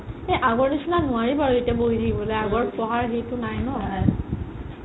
এ আগৰ নিচিনা নোৱাৰি বাৰু এতিয়া বহি থাকিবলে আগৰ পঢ়াৰ হেৰিটো নাই ন